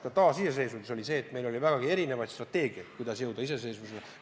Ka taasiseseisvumise poole püüeldes oli meil vägagi erinevaid strateegiaid, kuidas iseseisvuseni jõuda.